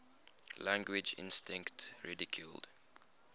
language instinct ridiculed